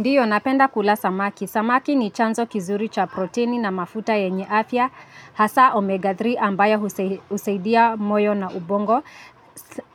Ndiyo, napenda kula samaki. Samaki ni chanzo kizuri cha protini na mafuta yenye afya, hasa omega tatu ambayo husaidia moyo na ubongo.